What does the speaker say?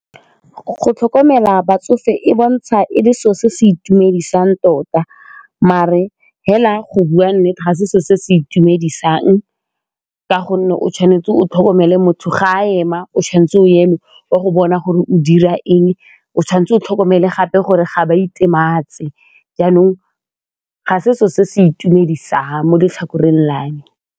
Go tlhokomela batsofe e bontsha e le selo se se itumedisang tota mare fela go bua nnete ga se selo se se itumedisang ka gonne o tshwanetse o tlhokomele mo motho ga a ema o tshwanetse o eme wa go bona gore o dira eng, o tshwanetse o tlhokomele gape gore ga ba itematse jaanong ga se selo se se itumedisa mo letlhakoreng la me.